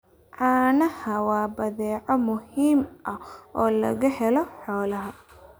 Caanaha waa badeeco muhiim ah oo laga helo xoolaha.